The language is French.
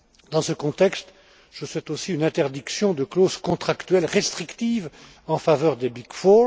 Dans ce contexte, je souhaite aussi une interdiction des clauses contractuelles restrictives en faveur des Big Four.